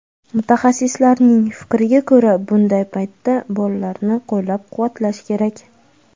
Mutaxassislar fikriga ko‘ra, bunday paytda bolalarni qo‘llab-quvvatlash kerak.